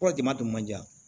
Kɔrɔ jama tun man di dɛ